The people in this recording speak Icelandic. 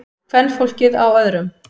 Kvenfólkið á öðrum.